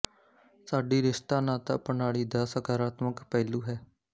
ਸਾਡੀ ਰਿਸ਼ਤਾ ਨਾਤਾ ਪ੍ਰਣਾਲੀ ਦਾ ਸਾਕਰਾਤਮਕ ਪਹਿਲੂ ਹੈ